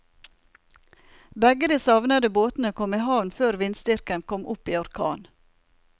Begge de savnede båtene kom i havn før vindstyrken kom opp i orkan.